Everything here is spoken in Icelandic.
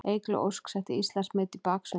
Eygló Ósk setti Íslandsmet í baksundi